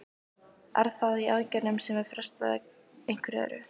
Er það í aðgerðum sem er frestað eða einhverju öðru?